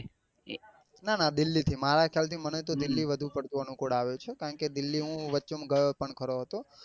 ના ના દિલ્હી થી મારા ખ્યાલ થી મને તો દિલ્હી ધુ પડતું અનુકુળ આવે છે. કારણ કે વચે દિલ્હી વચ્ચે હું ગયો પણ ખરો હતો.